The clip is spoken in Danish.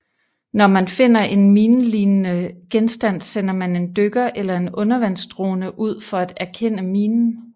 Når man finder en minelignende genstand sender man en dykker eller en undervandsdrone ud for at erkende minen